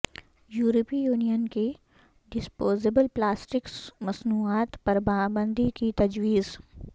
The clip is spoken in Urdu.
یورپی یونین کی ڈسپوزیبل پلاسٹک مصنوعات پرپابندی کی تجویز